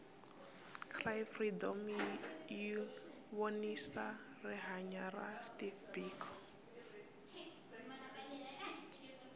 cry freedom yivonisa rihhanya ra steve biko